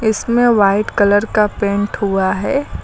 इसमें white colour का paint हुआ है।